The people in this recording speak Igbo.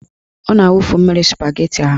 Ọ na-awufu mmiri spageti ahụ.